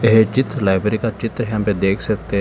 ये चित्र लाइब्रेरी का चित्र यहां पे देख सकते हैं।